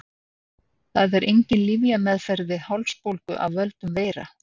Það er engin lyfjameðferð við hálsbólgu af völdum veira.